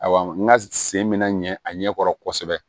Awa n ka sen bɛ na ɲɛ a ɲɛkɔrɔ kosɛbɛ